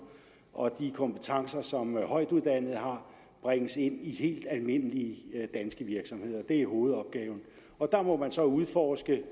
og de kompetencer som højtuddannede har bringes ind i helt almindelige danske virksomheder det er hovedopgaven og der må man så udforske